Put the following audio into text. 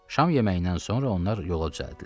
Şam yeməyindən sonra onlar yola düzəldilər.